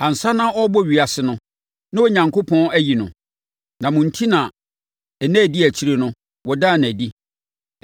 Ansa na wɔrebɔ ewiase no, na Onyankopɔn ayi no, na mo enti na nna a ɛdi akyire no, wɔdaa no adi.